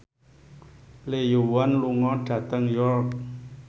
Lee Yo Won lunga dhateng York